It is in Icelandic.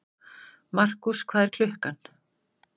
Markús, hvað er klukkan?